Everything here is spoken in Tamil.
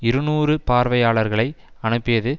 இருநூறு பார்வையாளர்களை அனுப்பியது